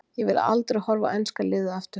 Ég vil aldrei horfa á enska liðið aftur.